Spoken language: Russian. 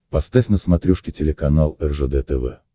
поставь на смотрешке телеканал ржд тв